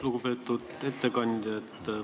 Lugupeetud ettekandja!